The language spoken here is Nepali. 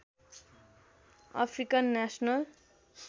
African national